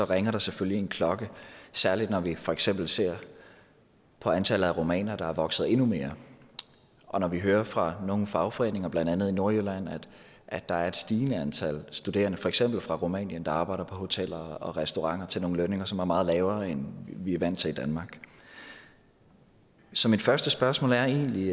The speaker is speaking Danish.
ringer der selvfølgelig en klokke særlig når vi for eksempel ser på antallet af rumænere der vokser endnu mere og når vi hører fra nogle fagforeninger blandt andet i nordjylland at der er et stigende antal studerende fra for eksempel rumænien der arbejder på hoteller og restauranter til nogle lønninger som er meget lavere end vi er vant til i danmark så mit første spørgsmål er egentlig